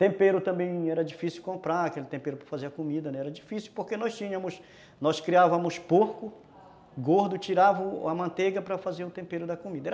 Tempero também era difícil comprar, aquele tempero para fazer a comida, era difícil porque nós criávamos porco gordo, tirávamos a manteiga para fazer o tempero da comida.